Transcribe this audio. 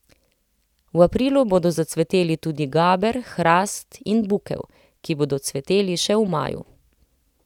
V aprilu bodo zacveteli tudi gaber, hrast in bukev, ki bodo cveteli še v maju.